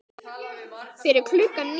Fyrir klukkan níu.